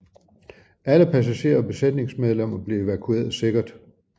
Alle passagerer og besætningsmedlemmer blev evakueret sikkert